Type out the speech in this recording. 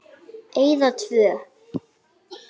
Eyða tvö.